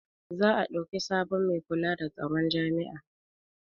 za a ɗauki sabon Mai kula da tsaron jami'a